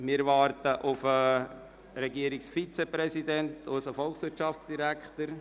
Wir warten auf den Regierungsvizepräsidenten, unseren Volkswirtschaftsdirektor.